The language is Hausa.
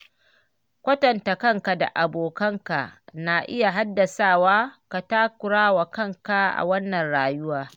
Kwatanta kanka da abokanka na iya haddasawa ka takura wa kanka a wannan rayuwar.